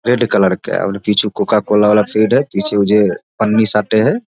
Red colour के और पीछे कोका वाला पेड़ है पीछे उ जे पन्नी साटय हेय।